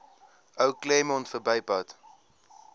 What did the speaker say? ou claremont verbypad